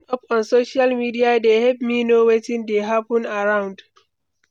Catching up on social media dey help me know wetin dey hapun around.